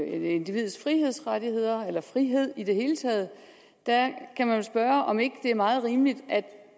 individets frihedsrettigheder eller frihed i det hele taget kan man jo spørge om det ikke er meget rimeligt at